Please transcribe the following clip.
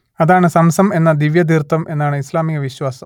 അതാണ് സംസം എന്ന ദിവ്യതീർത്ഥം എന്നാണു ഇസ്ലാമിക വിശ്വാസം